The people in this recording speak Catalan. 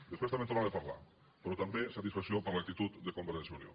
després també en tornaré a parlar però també satisfacció per l’actitud de convergència i unió